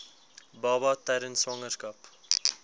baba tydens swangerskap